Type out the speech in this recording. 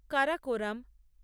Karakoram